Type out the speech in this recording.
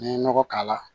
N'i ye nɔgɔ k'a la